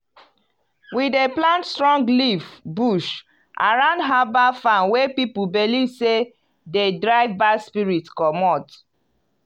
we dey plant strong leaf bush around herbal farm wey people believe say dey drive bad spirit comot.